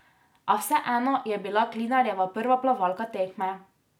A vseeno je bila Klinarjeva prva plavalka tekme.